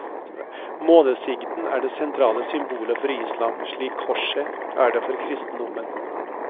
Månesigden er det sentrale symbolet for islam, slik korset er det for kristendommen.